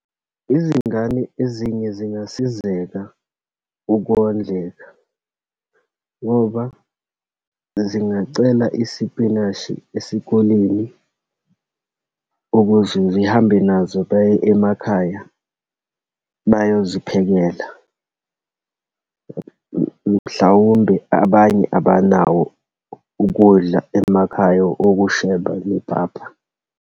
Izingane ezinye zingasizeka ukhondleka, ngoba zingacela isipinashi esikoleni ukuze zihambe nazo baye emakhaya, bayoziphekela. Mhlawumbe abanye abanawo ukudla emakhaya, okusheba nepapa.